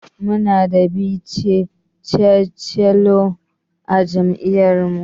Mu na da 'vice chancellor'a jami'ar mu